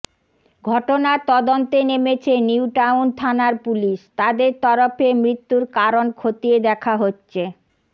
ঘটনার তদন্তে নেমেছে নিউটাউন থানার পুলিশ তাদের তরফে মৃত্যুর কারণ খতিয়ে দেখা হচ্ছে